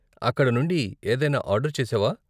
అక్కడ నుండి ఏదైనా ఆర్డరు చేశావా?